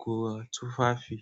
ga tufafi.